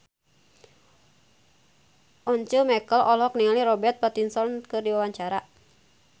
Once Mekel olohok ningali Robert Pattinson keur diwawancara